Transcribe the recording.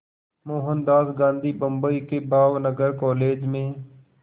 मोहनदास गांधी बम्बई के भावनगर कॉलेज में